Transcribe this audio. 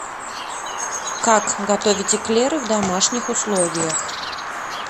как готовить эклеры в домашних условиях